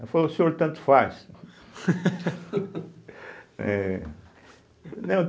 Ela falou, senhor tanto faz. eh